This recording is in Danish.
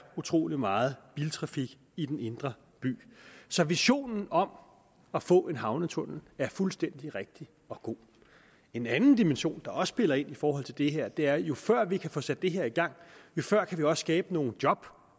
utrolig meget biltrafik i den indre by så visionen om at få en havnetunnel er fuldstændig rigtig og god en anden dimension der også spiller ind i forhold til det her er at jo før vi kan få sat det her i gang jo før kan vi også skabe nogle job